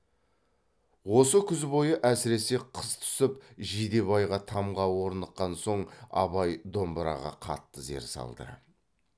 осы күз бойы әсіресе қыс түсіп жидебайға тамға орныққан соң абай домбыраға қатты зер салды